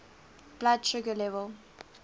blood sugar level